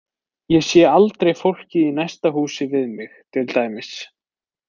Ég sé aldrei fólkið í næsta húsi við mig, til dæmis.